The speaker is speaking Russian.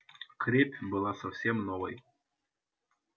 крепь была совсем новой